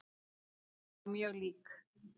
Já, mjög lík.